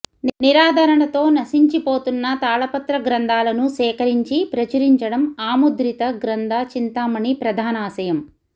నిరాదరణతో నశించిపోతున్న తాళపత్ర గ్రంథాలను సేకరించి ప్రచురించడం అముద్రిత గ్రంథ చింతామణి ప్రధానాశయం